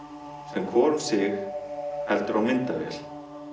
sem hvor um sig heldur á myndavél